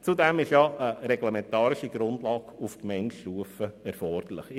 Zudem ist eine reglementarische Grundlage auf Gemeindestufe erforderlich.